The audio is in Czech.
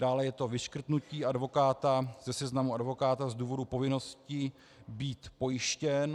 Dále je to vyškrtnutí advokáta ze seznamu advokátů z důvodu povinnosti být pojištěn.